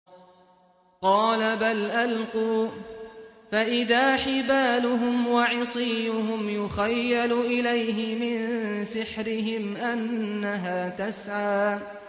قَالَ بَلْ أَلْقُوا ۖ فَإِذَا حِبَالُهُمْ وَعِصِيُّهُمْ يُخَيَّلُ إِلَيْهِ مِن سِحْرِهِمْ أَنَّهَا تَسْعَىٰ